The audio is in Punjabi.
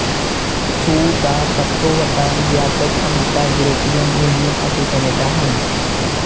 ਸੂਰ ਦਾ ਸਭ ਤੋਂ ਵੱਡਾ ਨਿਰਯਾਤਕ ਅਮਰੀਕਾ ਯੂਰੋਪੀਅਨ ਯੂਨੀਅਨ ਅਤੇ ਕੈਨੇਡਾ ਹਨ